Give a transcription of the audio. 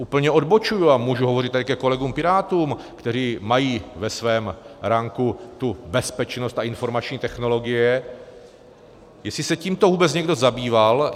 Úplně odbočuji a mohu hovořit tady ke kolegům Pirátům, kteří mají ve svém ranku tu bezpečnost a informační technologie, jestli se tímto vůbec někdo zabýval.